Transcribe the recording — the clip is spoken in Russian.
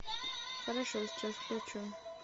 хорошо сейчас включу